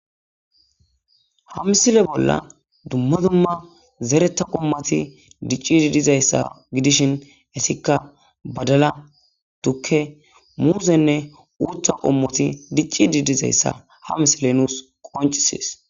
ha misile bolla dumma dumma zeretta qommati diccidi dizayssa gidishin essikka badala dukke muuzenne uutha qommoti dicci didizayssa ha misile nuus qoncisees